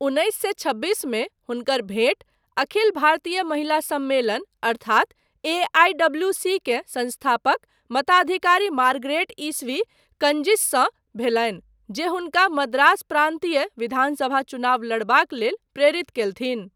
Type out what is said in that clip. उन्नैस सए छब्बीसमे हुनकर भेंट अखिल भारतीय महिला सम्मेलन अर्थात एआईडब्ल्यूसी के संस्थापक मताधिकारी मारगरेट ईस्वी कजिंससँ भेलनि, जे हुनका मद्रास प्रान्तीय विधानसभा चुनाव लड़बाक लेल प्रेरित कयलथिन।